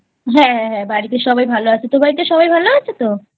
হ্যাঁ হ্যাঁ বাড়িতে সবাই ভালো আছে তোর বাড়িতে সবাই ভালো আছে তো?